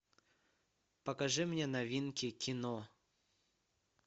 покажи мне новинки кино